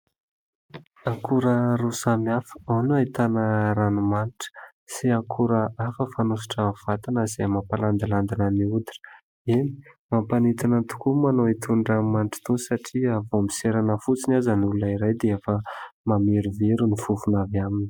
Akora roa samy hafa ao no ahitana ranomanitra sy akora hafa fanosotra vatana izay mampalandilandina ny hoditra. Eny, mampanintona tokoa manao an'itony ranomanitra itony satria vao miserana fotsiny aza ny olona iray dia efa mamerovero ny fofona avy aminy.